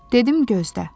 Dedim gözlə.